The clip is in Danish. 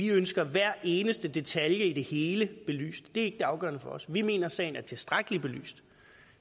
ønsker hver eneste detalje i det hele belyst det er det afgørende for os vi mener sagen er tilstrækkeligt belyst